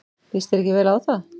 Líst þér ekki vel á það?